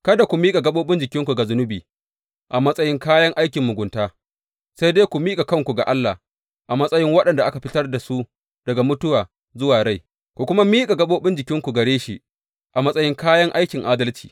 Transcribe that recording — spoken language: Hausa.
Kada ku miƙa gaɓoɓin jikinku ga zunubi a matsayin kayan aikin mugunta, sai dai ku miƙa kanku ga Allah, a matsayin waɗanda aka fitar da su daga mutuwa zuwa rai; ku kuma miƙa gaɓoɓin jikinku gare shi a matsayin kayan aikin adalci.